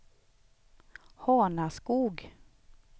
Hanaskog